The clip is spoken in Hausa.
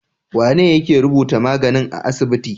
Wane yake rubuta magani a asibiti?